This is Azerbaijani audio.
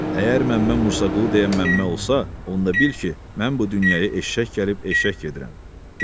Əgər Məmmə Musa Qulu deyən Məmmə olsa, onda bil ki, mən bu dünyaya eşşək gəlib eşşək gedirəm.